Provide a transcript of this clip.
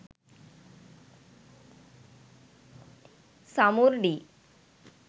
samurdi